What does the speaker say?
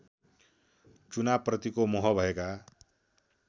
चुनावप्रतिको मोह भएका